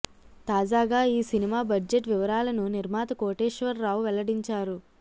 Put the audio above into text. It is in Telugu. తాజాగా ఈ సినిమా బడ్జెట్ వివరాలను నిర్మాత కోటేశ్వర్రావు వెల్లడించారు